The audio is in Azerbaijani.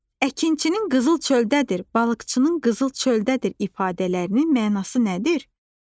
Əkinçinin qızıl çöldədir, balıqçının qızıl göldədir ifadələrinin mənası nədir?